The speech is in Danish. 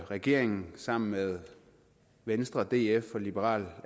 regeringen sammen med venstre df og liberal